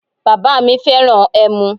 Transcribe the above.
Bàbá mi fẹ́ràn ẹmu.